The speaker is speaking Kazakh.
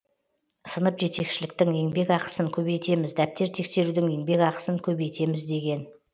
сынып жетекшіліктің еңбек ақысын көбейтеміз дәптер тексерудің еңбек ақысын көбейтеміз деген